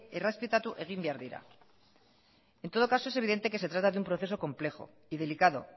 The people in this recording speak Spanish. errespetatu egin behar dira en todo caso es evidente que se trata de un proceso complejo y delicado